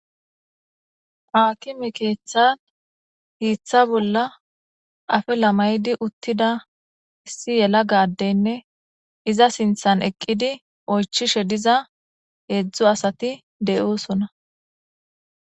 Akime keththan hiththa bolla afilla mayida uttida issi yelagga adeynne izza sinththan eqqidi oychchishe diiza heezhzhu asati deossona.